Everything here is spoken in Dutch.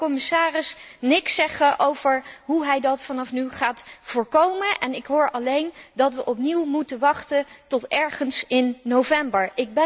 Ik hoor de commissaris niks zeggen over hoe hij dat vanaf nu gaat voorkomen en ik hoor alleen dat we opnieuw moeten wachten tot ergens in november.